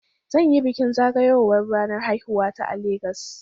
Zan yi bikin zagayowar ranar haihuwata a Legas.